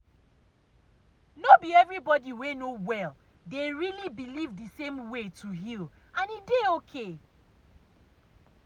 no be everybody wey no well dey really believe the same way to heal and e dey okay.